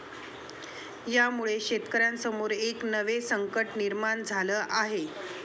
यामुळे शेतकऱ्यांसमोर एक नवे संकट निर्माण झालं आहे.